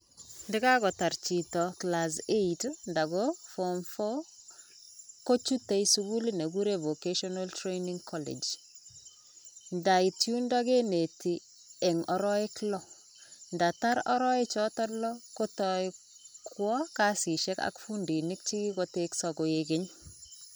Ndakakotar chito class eight anan ko form four kochute sukulit ne kikure vocational training college, ndait yundo keneti eng araek loo, ndatar araek choto loo kotoi kwoo kasisiek ak fundiinik che kikotekso koek keny.